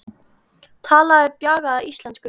Talaði bjagaða ensku